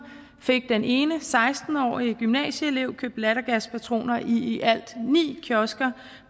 fik den ene seksten årige gymnasieelev købt lattergaspatroner i i alt ni kiosker